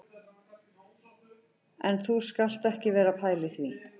En þú skalt ekki vera að pæla í því